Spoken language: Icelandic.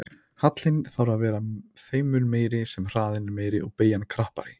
Hallinn þarf að vera þeim mun meiri sem hraðinn er meiri og beygjan krappari.